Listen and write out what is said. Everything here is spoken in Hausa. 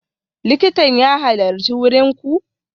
Likitan ya halarci wurin ku?